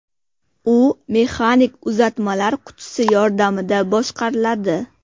U mexanik uzatmalar qutisi yordamida boshqariladi.